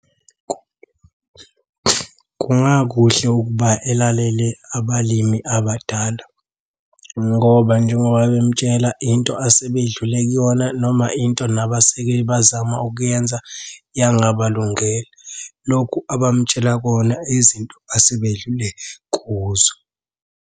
Kungakuhle ukuba elalele abalimi abadala ngoba njengoba bemutshela into asebedlule kuyona, noma into nabaseke bazama ukuyenza yangabalungela. Lokhu abamutshela kona izinto asebedlule kuzo.